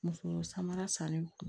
Muso samara sanni